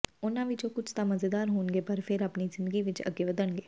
ਉਨ੍ਹਾਂ ਵਿਚੋਂ ਕੁਝ ਤਾਂ ਮਜ਼ੇਦਾਰ ਹੋਣਗੇ ਪਰ ਫਿਰ ਆਪਣੀ ਜ਼ਿੰਦਗੀ ਵਿਚ ਅੱਗੇ ਵਧਣਗੇ